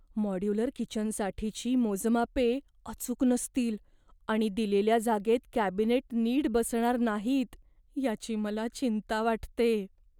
Modular किचनसाठीची मोजमापे अचूक नसतील आणि दिलेल्या जागेत कॅबिनेट नीट बसणार नाहीत याची मला चिंता वाटते.